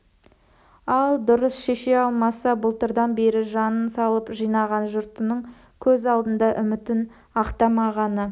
ал дұрыс шеше алмаса былтырдан бері жанын салып жинаған жұртының көз алдында үмітін ақтамағаны